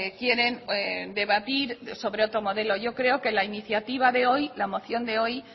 quieren debatir sobre otro modelo yo creo que la iniciativa de hoy la moción de hoy